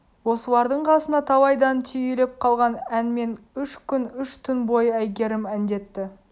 осылардың қасында талайдан түйіліп қалған әнмен үш күн үш түн бойы әйгерім әндетті